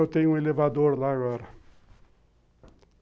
Eu tenho um elevador lá agora.